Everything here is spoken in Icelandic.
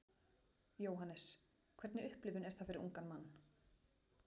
Jóhannes: Hvernig upplifun er það fyrir ungan mann?